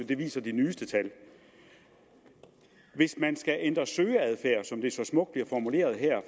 det viser de nyeste tal hvis man skal ændre søgeadfærd som det så smukt bliver formuleret her